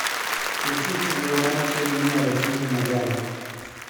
Nitie chenro mar chiemo minyalo ting e magawa